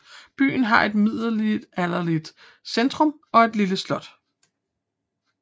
Byen har et middelalderlig centrum og et lille slot